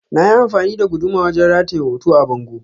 Na yi amfani da guduma wajen rataye hoto a bango.